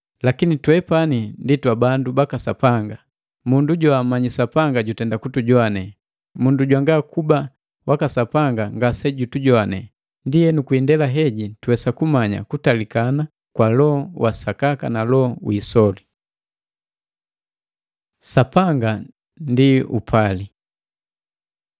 Lakini twepani ndi twabandu baka Sapanga. Mundu joammanyi Sapanga jutenda kutujowane, mundu jwanga kuba waka Sapanga ngase jutujowane. Ndienu kwi indela heji tuwesa kumanya kutalikana kwa Loho wa sakaka na loho wi isoli. Sapanga ndi upali